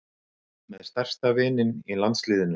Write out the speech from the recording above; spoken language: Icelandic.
Með stærsta vininn í landsliðinu